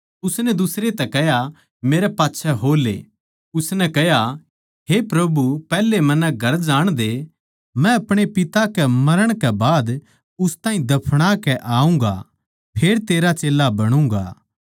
उसनै दुसरै तै कह्या हे प्रभु पैहले मन्नै घर जाणदे मै अपणे पिता के मरण कै बाद उस ताहीं दफना के आऊँगा फेर तेरा चेल्ला बणुगाँ